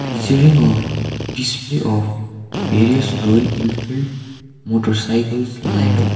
featuring a display of various royal enfield motorcycles lined up.